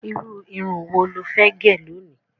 Irú irun wo lo fẹ́ gẹ̀ lónìí?